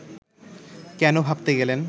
কেন ভাবতে গেলেন